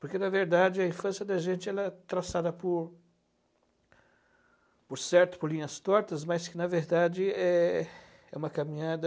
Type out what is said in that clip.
Porque, na verdade, a infância da gente ela é traçada por... por certo, por linhas tortas, mas que, na verdade, é é uma caminhada...